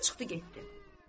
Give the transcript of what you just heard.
Və çıxdı getdi.